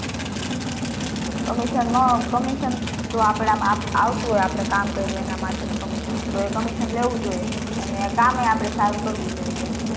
હમ commission માં જો આપડા માં આવતું હોય તો આપડે કામ કર્યું એના માટે નું commission તો એ commission લેવું જ જોઈએ અને કામ એ આપડે સારું કરવું જોઈએ